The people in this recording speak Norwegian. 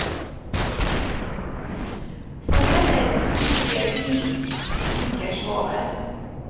For heller ikke de liker svovel.